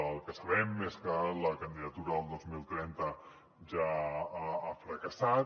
el que sabem és que la candidatura del dos mil trenta ja ha fracassat